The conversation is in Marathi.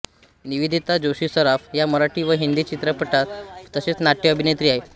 निवेदिता जोशीसराफ या मराठी व हिंदी चित्रपट तसेच नाट्य अभिनेत्री आहेत